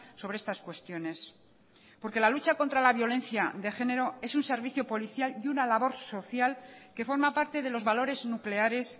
sobre estas cuestiones porque la lucha contra la violencia de género es un servicio policial y una labor social que forma parte de los valores nucleares